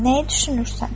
Nəyi düşünürsən?